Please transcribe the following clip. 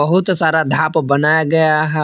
बहुत सारा धाप बनाया गया है।